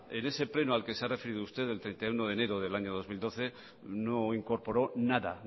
en ese pleno al que se ha referido usted del treinta y uno de enero del año dos mil doce no incorporó nada